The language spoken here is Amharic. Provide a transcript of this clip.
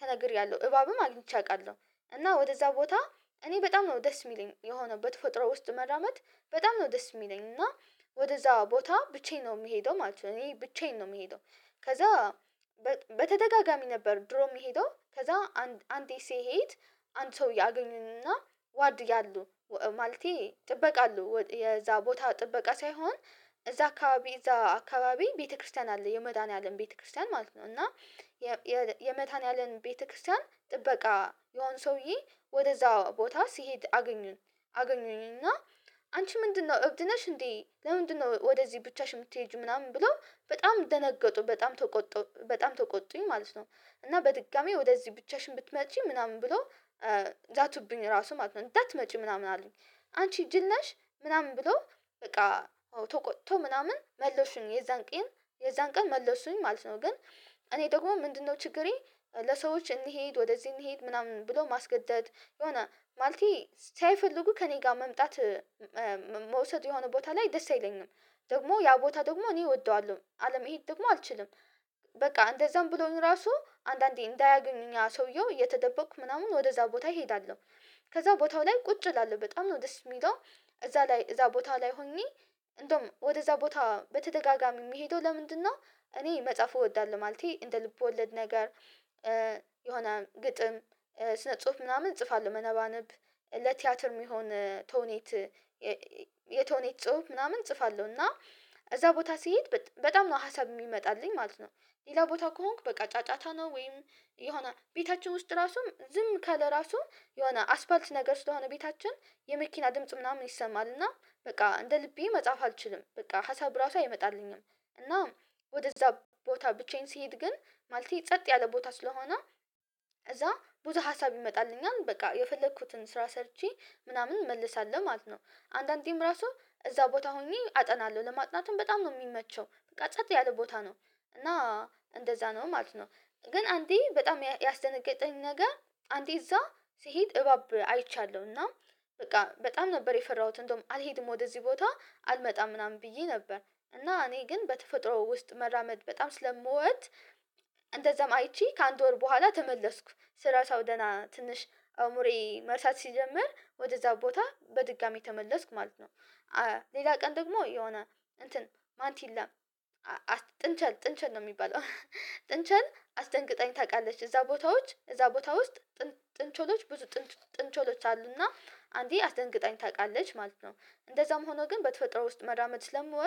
ተነግሬያለሁ። እባብም አግኝቼ አውቃለሁ። እኔ በጣም ነው ደስ የሚለኝ። በተፈጥሮ ውስጥ መራመድ በጣም ነው ደስ የሚለኝ። እና ወደእዛ ቦታ ብቻዬን ነው የምሄደው ማለት ነው። እኔ ብቻዬን ነው የምሄደው። ከዛ በተደጋጋሚ ነበር ድሮ የሚሄደው። ከዛ አንዴ ሲሄድ አንድ ሰው ያገኙኝና ጥበቃ አሉ። የዛ ቦታ ጥበቃ ሳይሆን እዛ አካባቢ ቤተክርስቲያን አለ የመድኃኒዓለም ቤተክርስቲያን ማለት ነው እና የመድሀኒአለም ቤተክርስቲያን ጥበቃ የሆኑ ሰውዬ ወደዛ ቦታ ሲሄድ አገኘኝና "አንቺ ምንድነው? እብድ ነሽ እንዴ? ለምንድነው ወደዚህ ብቻሽ የምትሄጂው?" ምናምን ብለው በጣም ደነገጡ፤ በጣም ተቆጡ። በጣም ተቆጡኝ ማለት ነው። እና በድጋሚ ወደዚህ ብቻሽን ብትመጪ ምናምን ብለው ዛቱብኝ ራሱ ማለት ነው እንዳትመጪ ምናምን አሉኝ። "አንቺ ጅል ነሽ!" ምናምን ብሎ በቃ ተቆጥቶ ምናምን መለሱኝ የዛን ቀን መለሱኝ ማለት ነው። ግን እኔ ደግሞ ምንድነው ችግሬ ለሰዎች እንሂድ ወደዚህ እንሂድ ምናምን ብሎ ማስገደድ የሆነ ማለቴ ሳይፈልጉ ከእኔ ጋር መምጣት መውሰድ የሆነ ቦታ ላይ ደስ አይለኝም። ደግሞ ያንን ቦታ ደግሞ እኔ እወደዋለሁ። አለመሄድ ደግሞ አልችልም። በቃ እንደዛም ብለውኝ ራሱ አንዳንዴ እንዳያገኙኝ ሰውየው እየተደበኩ ምናምን ወደዛ ቦታ እሄዳለሁ። ከዛ ቦታው ላይ ቁጭ እላለሁ። በጣም ነው ደስ የሚለው እዛ ቦታ ላይ ሆኜ እንደውም ወደእዛ ቦታ በተደጋጋሚ የሚሄደው ለምንድነው? እኔ መጽሐፍ እወዳለሁ። ማለቴ እንደ ልብ ወለድ ነገ፤ የሆነ ግጥም ስነ ጽሁፍ ምናምን እጽፋለሁ። መነባነብ ለቲያትር የሚሆን የተውኔት ጽሁፍ ምናምን እጽፋለሁ። እና እዛ ቦታ ሲሄድ በጣም ነው ሀሳብ የሚመጣልኝ ማለት ነው። ሌላ ቦታ ከሆንኩ በቃ ጫጫታ ነው ወይም የሆነ ቤታችን ውስጥ ራሱም ዝም ካለ ራሱም የሆነ አስፋልት ነገር ስለሆነ ቤታችን የመኪና ድምጽ ምናምን ይሰማል። እና በቃ እንደ ልቤ መጽሐፍ አልችልም። በቃ ሀሳብ እራሱ አይመጣልኝም እና ወደእዛ ቦታ ብቻዬን ስሄድ ግን ማለቴ ጸጥ ያለ ቦታ ስለሆነ እዛ ብዙ ሀሳብ ይመጣልኛል። በቃ! የፈለኩትን ስራ ሰርቼ ምናምን እመልሳለሁ ማለት ነው። አንዳንዴም ራሱ እዛ ቦታ ሆኜ አጠናለሁ። ለማጥናትም በጣም ነው የሚመቸው። በቃ! ጸጥ ያለ ቦታ ነው። እና እንደዛ ነው ማለት ነው። ግን አንዴ በጣም ያስደነገጠኝ ነገ፤ አንዴ እዛ ሲሄድ እባብ አይቻለሁ። እና በቃ በጣም ነበር የፈራሁት። እንደውም አልሄድም ወደዚህ ቦታ አልመጣም ምናምን ብዬ ነበር። እና እኔ ግን በተፈጥሮ ውስጥ መራመድ በጣም ስለምወድ እንደዛም አይቼ ከአንድ ወር በኋላ ተመለስኩ። ስረሳው ትንሽ አእምሮዬ መርሳት ሲጀምር ወደእዛ ቦታ በድጋሚ ተመለስኩ ማለት ነው። ሌላ ቀን ደግሞ፤ የሆነ "ማንቲላ" "ጥንቸል"ነው የሚባለው ጥንቸል አስደንግጣኝ ታውቃለች እዛ ቦታ ውስጥ ጥንቸሎች ብዙ ጥንቸሎች አሉና አንዴ አስደንግጣኝ ታውቃለች ማለት ነው። እንደዛም ሆኖ ግን በተፈጥሮ ውስጥ መራመድ ስለምወድ